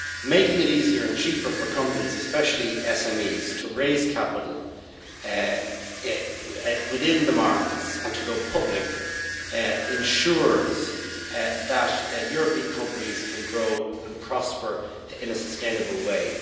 Making it easier and cheaper for companies, especially SMEs, to raise capital within the markets and to go public ensures that European companies can grow and prosper in a sustainable way.